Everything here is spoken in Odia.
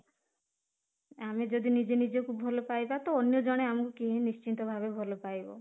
ଆମେ ଯଦି ନିଜେ ନିଜକୁ ଭଲ ପାଇବା ତ ଅନ୍ୟ ଜଣେ ଆମକୁ କେହି ନିଶ୍ଚିତ ଭାବେ ଭଲ ପାଇବ